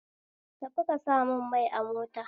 Tafi ka samun mai a mota